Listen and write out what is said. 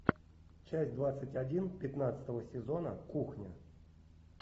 часть двадцать один пятнадцатого сезона кухня